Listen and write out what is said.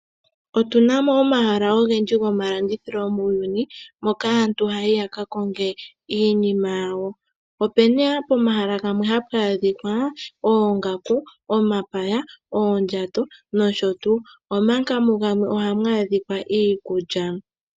Otu na mo omahala ogendji gomalandithilo muuyuni moka aantu haya yi ya ka konge iinima yawo. Opu na pomahala gamwe hapu adhika oongaku, omapaya, oondjato nosho tuu, omanga mugamwe ohamu adhika iikulya.